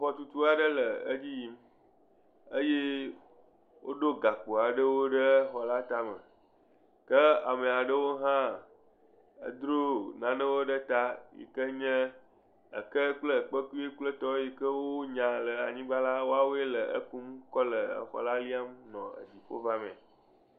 Xɔtutu aɖe le edzi yim eye woɖo gakpo aɖewo ɖe xɔ la tame. Ke amea ɖewo hã edro nanewo ɖe ta yike nye eke kple ekpekui kple etɔwo yike wonya le anyigba la, woawoe le ekum kɔ le exɔ la liam nɔ edziƒo vamee.